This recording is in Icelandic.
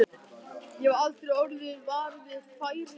Ég hef aldrei orðið var við færilús.